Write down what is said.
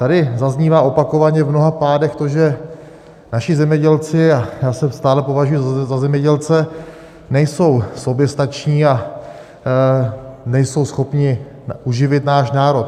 Tady zaznívá opakovaně v mnoha pádech to, že naši zemědělci - a já se stále považuji za zemědělce - nejsou soběstační a nejsou schopni uživit náš národ.